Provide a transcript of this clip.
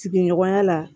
Sigiɲɔgɔnya la